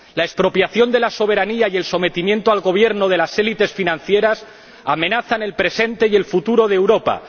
La expropiación de la soberanía y el sometimiento al gobierno de las élites financieras amenazan el presente y el futuro de Europa.